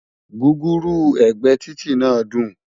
gúgúrú ẹgbẹ Títí nà dùn